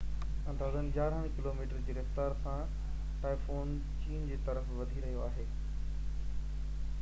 اندازن يارانهن ڪلوميٽر جي رفتار سان ٽائفون چين جي طرف وڌي رهيو آهي